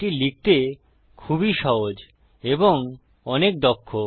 এটি লিখতে খুবই সহজ এবং অনেক দক্ষ